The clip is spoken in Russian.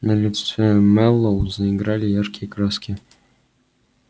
на лице мэллоу заиграли яркие краски